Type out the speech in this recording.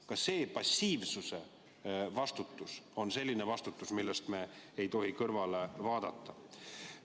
Ka vastutus passiivsuse eest on selline vastutus, millest me ei tohi mööda vaadata.